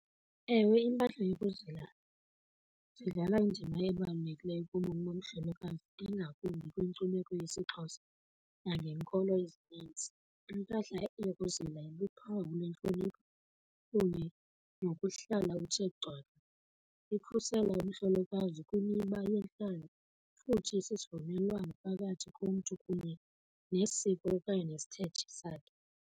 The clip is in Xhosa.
Ewe, impahla yokuzila zidlala indima ebalulekileyo kubomi bomhlolokazi ingakumbi kwinkcubeko yesiXhosa nangenkolo ezinintsi. Impahla yokuzola luphawu lwentlonipho kunye nokuhlala uthe . Ikhusela umhlolokazi kwimiba yintlalo futhi sisivumelwano phakathi komntu kunye nesiko okanye nesithethe sakhe.